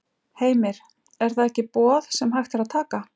Heimir: Er það ekki boð sem hægt er að taka?